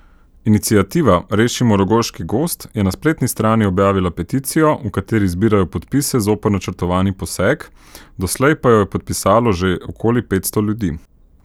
Iniciativa Rešimo Rogoški gozd je na spletni strani objavila peticijo, v kateri zbirajo podpise zoper načrtovani poseg, doslej pa jo je podpisalo že okoli petsto ljudi.